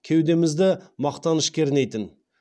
кеудемізді мақтаныш кернейтін